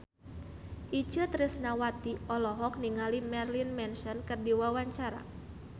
Itje Tresnawati olohok ningali Marilyn Manson keur diwawancara